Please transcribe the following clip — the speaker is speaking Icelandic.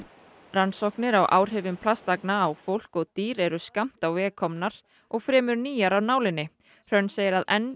rannsóknir á áhrifum plastagna á fólk og dýr eru skammt á veg komnar og fremur nýjar af nálinni hrönn segir að enn